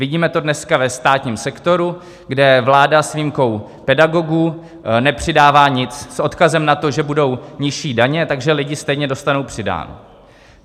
Vidíme to dneska ve státním sektoru, kde vláda s výjimkou pedagogů nepřidává nic, s odkazem na to, že budou nižší daně, takže lidi stejně dostanou přidáno.